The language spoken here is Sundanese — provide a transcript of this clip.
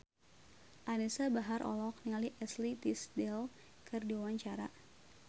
Anisa Bahar olohok ningali Ashley Tisdale keur diwawancara